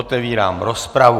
Otevírám rozpravu.